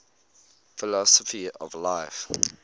philosophy of life